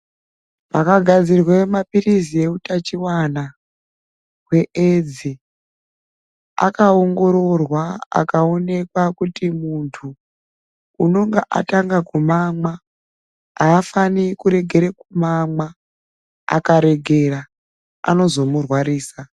Pakagadzirwa mapirizi eutachiona eaids akuongororwa kuti tikaona kuti muntu akumamwa afanire kuregera kumamwa akaregera anozomurwarisa.